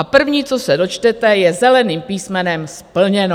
A první, co se dočtete, je zeleným písmenem "splněno".